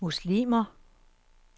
muslimer